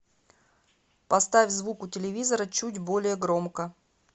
поставь звук у телевизора чуть более громко